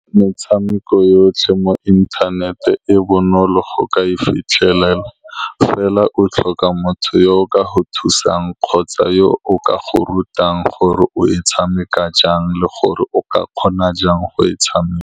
Metshameko yotlhe mo internet-e e bonolo go ka e fitlhelela, fela o tlhoka motho yo o ka go thusang kgotsa yo o ka go rutang gore o e tshameka jang, le gore o ka kgona jang go e tshameka.